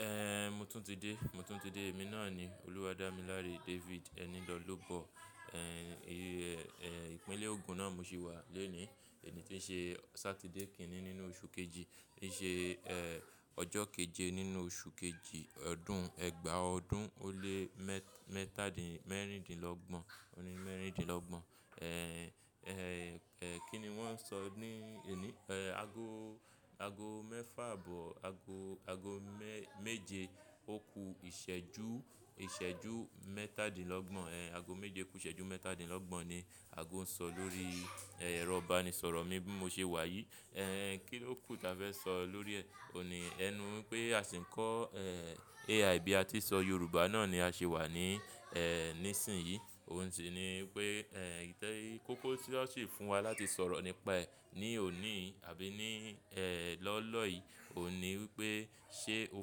Ehn, mo tún ti dé, mo tún ti dé. Èmi náà ni olúwa Dámiláre David. Eni lọ́'lobọ. Ehn, ìpínlẹ̀ Ogun náà mo ṣì wà lónìí. Ẹni tí ń ṣe Saturday kíní nínú oṣù kejì, tí ń ṣe eh, ọjọ́ kejẹ nínú oṣù kejì ọdún ẹgbàá ọdún ó lé mẹ́ta dín mẹ́rìndínlọ́gbọ̀n, òní mẹ́rìndínlọ́gbọ̀n. Ehn, eh, kí ni wọ́n ń sọ ní òní? Eh, ago, ago mẹ́fà àbọ̀ ago, ago méje òkú ìṣẹ́jú, ìṣẹ́jú mẹ́tàdínlọ́gbọ̀n. Ehn, ago méje kú ìṣẹ́jú mẹ́tàdínlọ́gbọ̀n ni ago ń sọ lórí ero ibanisọ̀rọ̀ mi bí mo ṣe wà yìí. Ehn, kí ló kù tí a fẹ́ sọ lórí e, òhùn ní? Ẹ nu pé a sì ń kọ́ eh, AI bí a ti ṣọ Yorùbá náà ni a ṣi wà ní eh, nísìnyí. Òun sì ni wípé eh, ìtẹrí kókó tí wọ́n sì fún wa láti sọ̀rọ̀ nípa ẹ̀ ní òní àbí ní eh, lọ́lọ́ yìí. Òun ní wípé ṣe o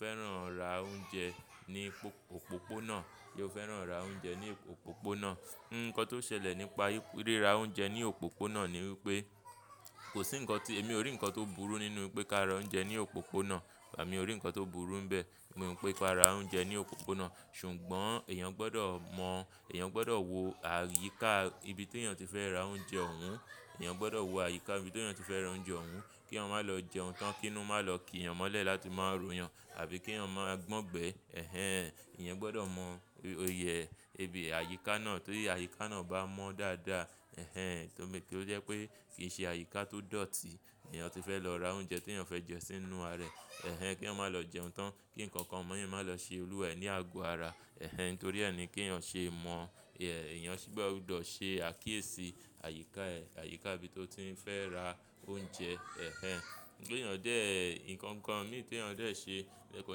fẹ́ràn ra oúnjẹ ní òpópónà? Ṣe o fẹ́ràn ra oúnjẹ ní òpópónà? Nǹkan tó ṣẹlẹ̀ nípa ríra oúnjẹ ní òpópónà ni wípé, kò sí ǹkan tí, èmi ò rí ǹkan tó burú nínú pé ká ra oúnjẹ ní òpópónà. Emi o rí ǹkan tó burú níbẹ̀. Mo mọ̀ pé ká ra oúnjẹ ní òpópónà. Ṣùgbọ́n èèyàn gbọdọ̀ mọ̀, èèyàn gbọdọ̀ wo àyíká ibi tí èèyàn ti fẹ́ ra oúnjẹ òún. Èèyàn gbọdọ̀ wo àyíká ibi tí èèyàn ti fẹ́ ra oúnjẹ òún kí wọ́n má lọ jẹun tán, kí inu ma lọ kí èèyàn mọ́lẹ̀ láti má run èèyàn àbí kí èèyàn má gbọ́n gbẹ. Ehen, èèyàn gbọdọ̀ mọ iye ibi àyíká náà torí àyíká náà bá mọ́ dáadáa, ehen, kí ó jẹ́ pé kì í ṣe àyíká tó dọ̀tí lèèyàn ti fẹ́ lọ ra oúnjẹ tí èèyàn fẹ́ jẹ sínú ara rẹ̀. Ehen, keeyan má lọ jẹun tán kí ǹkan kan miran má lọ ṣe olúwẹ̀ẹ́ ní àgọ́ ara. Ehen, nítorí ẹ ni kí èèyàn ṣe mọ̀, èèyàn gbọdọ̀ ṣe àkíyèsí àyíká ẹ̀, àyíká ibi tó ti ń fẹ́ ra oúnjẹ. Ehen, kí èèyàn dé ǹkan kan ní èèyàn dé ṣe. Ehn, mo tún ti dé, mo tún ti dé. Èmi náà ni olúwa Dámiláre David. Eni lọ́'lobọ. Ehn, ìpínlẹ̀ Ogun náà mo ṣì wà lónìí. Ẹni tí ń ṣe Saturday kíní nínú oṣù kejì, tí ń ṣe eh, ọjọ́ kejẹ nínú oṣù kejì ọdún ẹgbàá ọdún ó lé mẹ́ta dín mẹ́rìndínlọ́gbọ̀n, òní mẹ́rìndínlọ́gbọ̀n. Ehn, eh, kí ni wọ́n ń sọ ní òní? Eh, ago, ago mẹ́fà àbọ̀ ago, ago méje òkú ìṣẹ́jú, ìṣẹ́jú mẹ́tàdínlọ́gbọ̀n. Ehn, ago méje kú ìṣẹ́jú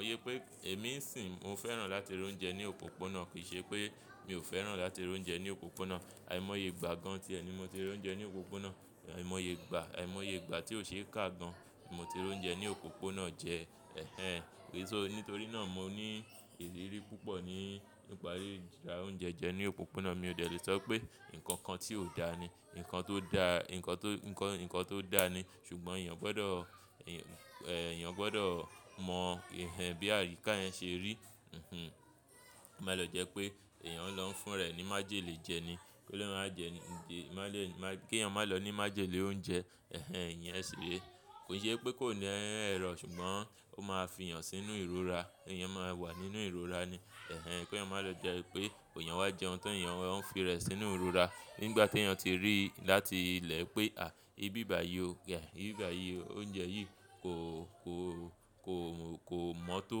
mẹ́tàdínlọ́gbọ̀n ni ago ń sọ lórí eh, rọ̀ba ni ìsọ̀rọ̀ mi bí mo ṣe wà yìí. Ehn, kí ló kù tí a fẹ́ sọ lórí òhun ní? Ẹ nu pé a sì ń kọ́ eh, AI bí a ti ṣọ Yorùbá náà ni a ṣe wà ní eh, nísìnyí. Òun sì ni wípé eh, ìtẹrí kókó tí wọ́n sì fún wa láti sọ̀rọ̀ nípa ẹ̀ ní òní àbí ní eh, lọ́lọ́ yìí. Òun ní wípé ṣe o fẹ́ràn ra oúnjẹ ní òpópónà? Ṣe o fẹ́ràn ra oúnjẹ ní òpópónà? Ehen, ìyẹn ṣì rí. Nǹkan tó ṣẹlẹ̀ nípa ríra oúnjẹ ní òpópónà ni wípé, kò sí ǹkan tí, èmi ò rí ǹkan tó burú nínú pé ká ra oúnjẹ ní òpópónà. Wàá mọ̀ bí mo rí ǹkan tó burú níbẹ̀. Nígbà tí èèyàn ti rí láti ilẹ̀ pé à, ibi ìbà yí ò ga, ibi ìbà yí, oúnjẹ yìí kò, kò, kò mọ́tó,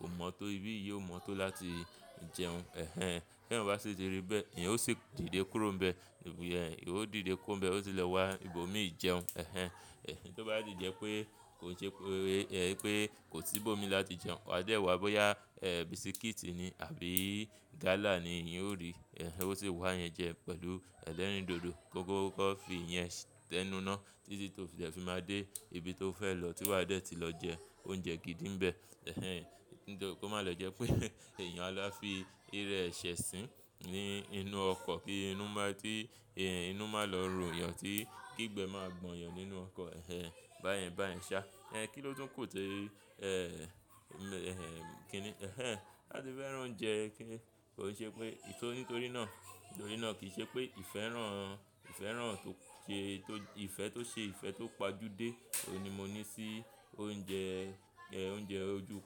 kò mọ́tó, ibi yìí ò mọ́tó láti jẹun. Ehen ehen, kí èèyàn bá sì ti rí bẹ́ẹ̀, èèyàn ó sì dìde kúrò níbẹ̀. Ìwọ dìde kó ń bẹ, ó sì lọ wá ibòmíì jẹun. Ehen ehen, èyí tó bá di jẹ pé kò ṣe pé, pé kò sí ibòmíì láti jẹun, wàá dé wá bóyá eh, bisikíìtì ni àbí gálà ni èèyàn ó rí. Ehen, ó sì wá yẹn jẹ pẹ̀lú ẹlẹ́rìndòdò, kókókòfi yẹn tẹ́núná títí tó fi má dé ibi tó fẹ́ lọ tí wà á dẹ̀ ti lọ jẹ oúnjẹ gidi níbẹ̀. Ehen, nítorí kí ó má lọ jẹ́ pé èèyàn á fi irẹ́ ẹsẹ̀ sín ní inú ọkọ̀ kí inú má tí, inú má lọ rù èèyàn tí kígbe máa gbọ̀n yàn nínú ọkọ̀. Ehen, bá yẹn, bá yẹn ṣá. Ehn, kí ló tún kù té eh, eh, kí ni, ehn ehn láti fẹ́ràn oúnjẹ kí kò ṣe pé, e torí nítorí náà, nítorí náà kì í ṣe pé ìfẹ́ rán, ìfẹ́ rán tó ṣe, tó ìfẹ́ tó ṣe ìfẹ́ tó pajúdé. Oun ni mo ní sí oúnjẹ, oúnjẹ ojú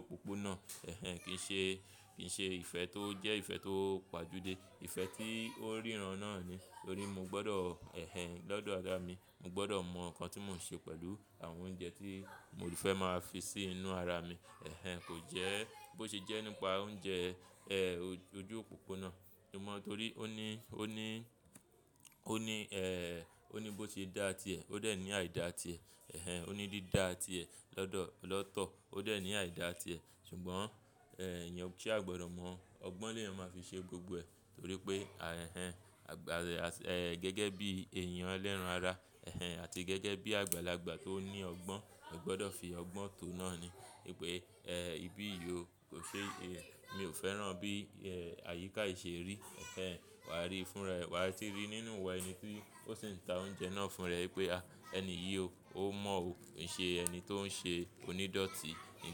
òpópónà. Ehen, kì í ṣe, kì í ṣe ìfẹ́ tó jẹ́ ìfẹ́ tó pajúdé. Ìfẹ́ tí ó ríran náà ni. Nítorí mo gbọdọ̀, ehen ehen, dọ́dọ̀ ara mi, mo gbọdọ̀ mọ̀ ǹkan tí mò ń ṣe pẹ̀lú àwọn oúnjẹ tí mo ti fẹ́ máa fi sí inú ara mi. Ehen ehen kò jẹ́ bó ṣe jẹ́ nípa oúnjẹ eh, ojú òpópónà. Ó mọ́ torí ó ní, ó ní, ó ní eh, ó ní bó ṣe dá a ti ẹ̀. Ó dà ní àìda ti ẹ̀. Ehen ehen ó ní dídá ti ẹ̀ lọ́dọ̀, lọ́tọ̀. Ó dà ní àìda ti ẹ̀. Sugbon ehen eyan sáá gbódò mò ọgbọ́n ni èèyàn máa fi ṣe gbogbo ẹ̀ torí pé ah, ehn ehn, gẹ́gẹ́ bí èèyàn lẹ́ran ara, ehn ehn àti gẹ́gẹ́ bí àgbàlagbà tó ní ọgbọ́n, o gbọdọ̀ fi ọgbọ́n tó náà ni. Pé eh, ibi yìí ò ṣe, mi ò fẹ́ràn bí eh, àyíká yìí ṣe rí. Ehen ehen, wàá rí i fúnra, wà á ti rí nínú wẹ̀ ẹni tí ó sì ń ta oúnjẹ náà fún ẹ pé, à ẹni yìí ó mọ̀ o. Ǹ ṣe ẹni tó ń ṣe onídọ̀tí ni.